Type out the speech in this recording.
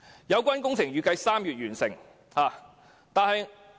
有關工程預計在3月完成。